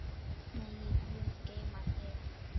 Megi Guð geyma þig.